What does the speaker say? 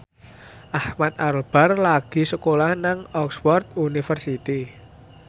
Ahmad Albar lagi sekolah nang Oxford university